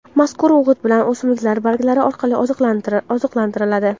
Mazkur o‘g‘it bilan o‘simliklar barglari orqali oziqlantiriladi.